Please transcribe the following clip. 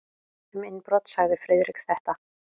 Um innbrot sagði Friðrik þetta: